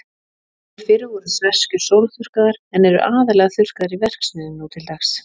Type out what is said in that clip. Áður fyrr voru sveskjur sólþurrkaðar, en eru aðallega þurrkaðar í verksmiðjum nú til dags.